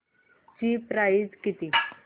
ची प्राइस किती